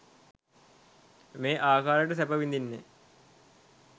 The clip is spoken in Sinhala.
මේ ආකාරයට සැප විඳින්නේ,